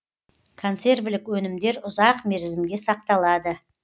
консервілік өнімдер ұзақ мерзімге сақталады